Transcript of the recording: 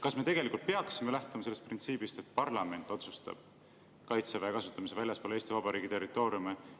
Kas me tegelikult peaksime lähtuma sellest printsiibist, et parlament otsustab Kaitseväe kasutamise väljaspool Eesti Vabariigi territooriumi?